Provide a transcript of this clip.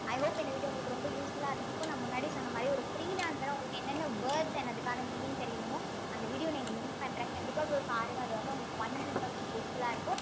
i hope இந்த video உங்களுக்கு ரொம்ப useful ஆ இருந்திருக்கும் நான் முன்னாடி சொன்ன மாதிரி ஒரு freelancer ஆ உங்களுக்கு என்னென்ன words and அதுக்கான meaning தெரியணுமோ அந்த video வ link பண்றேன் கண்டிப்பா போய் பாருங்க அது வந்து உங்களுக்கு one hundred percent useful ஆ இருக்கும்